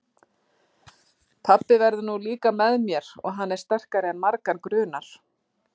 Pabbi verður nú líka með mér og hann er sterkari en margan grunar.